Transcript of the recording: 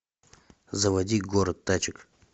заводи город тачек